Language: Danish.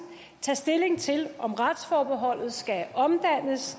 tage stilling til om retsforholdet skal omdannes